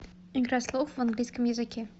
игра слов в английском языке